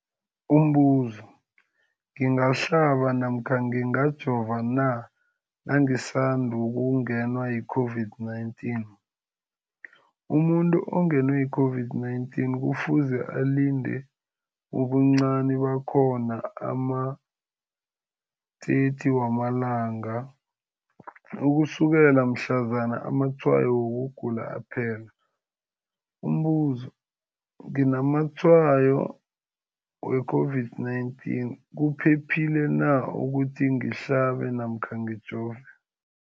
Umbuzo, ngingahlaba namkha ngingajova na nangisandu kungenwa yi-COVID-19? Umuntu ongenwe yi-COVID-19 kufuze alinde ubuncani bakhona ama-30 wama langa ukusukela mhlazana amatshayo wokugula aphela. Umbuzo, nginamatshayo we-COVID-19, kuphephile na ukuthi ngihlabe namkha ngijove?